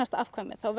afkvæmi þá